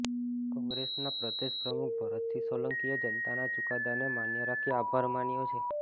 કોંગ્રેસના પ્રદેશ પ્રમુખ ભરતસિંહ સોલંકીએ જનતાના ચુકાદાને માન્ય રાખી આભાર માન્યો છે